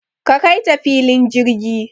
Ka Kaita filin jirgi